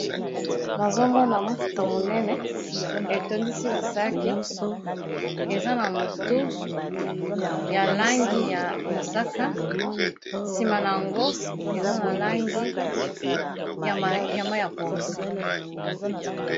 Nazomona mutuka monene etondisi ba sac eza na motu ya langi ya mosaka sima na yango eza na langi ya ma ya pondu.